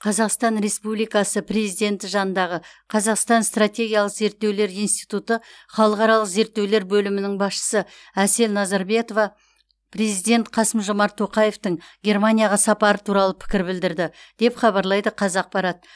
қазақстан республикасы президенті жанындағы қазақстан стратегиялық зерттеулер институты халықаралық зерттеулер бөлімінің басшысы әсел назарбетова президент қасым жомарт тоқаевтың германияға сапары туралы пікір білдірді деп хабарлайды қазақпарат